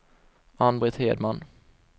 Ann-Britt Hedman